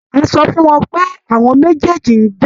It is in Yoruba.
A sọ fún wọn pé àwọn méjèèjì ń jà.